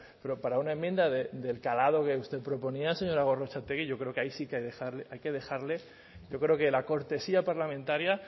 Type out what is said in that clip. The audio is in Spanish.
pero para una enmienda del calado que usted proponía señora gorrotxategi yo creo ahí sí que hay que dejarle yo creo que la cortesía parlamentaria